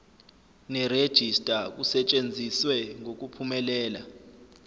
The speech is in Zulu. nerejista kusetshenziswe ngokuphumelela